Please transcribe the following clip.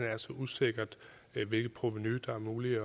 er så usikkert hvilket provenu det er muligt at